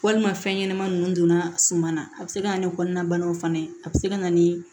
Walima fɛn ɲɛnama ninnu donna suman na a bɛ se ka na ni kɔnɔnabanaw fana ye a bɛ se ka na ni